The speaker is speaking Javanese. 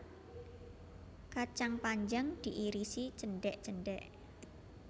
Kacang panjang diiris cendhek cendhek